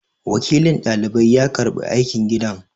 Wakilin dalibai ya karɓi aikin gidan